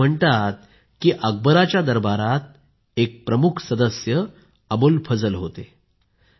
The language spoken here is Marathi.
असे म्हणतात की अकबराच्या दरबारात एक प्रमुख सदस्य अबुल फजल होते